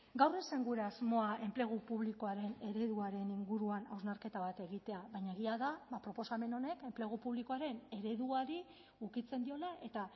gaur ez zen gure asmoa enplegu publikoaren ereduaren inguruan hausnarketa bat egitea baina egia da proposamen honek enplegu publikoaren ereduari ukitzen diola eta